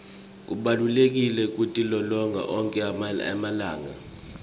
kubalulekile kutilolonga onkhe emalanga